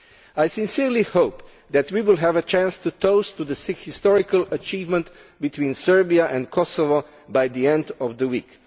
I sincerely hope that we will have a chance to toast the historical achievement of Serbia and Kosovo by the end of the week.